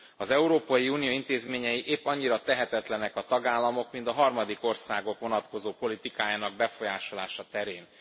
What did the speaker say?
Az Európai Unió intézményei épp annyira tehetetlenek a tagállamok, mint a harmadik országok vonatkozó politikájának befolyásolása terén.